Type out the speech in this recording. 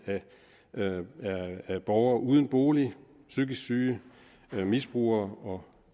af borgere uden bolig psykisk syge misbrugere og